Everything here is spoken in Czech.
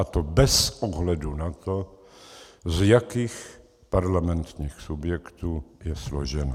A to bez ohledu na to, z jakých parlamentních subjektů je složena.